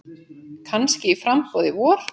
Kannski í framboð í vor.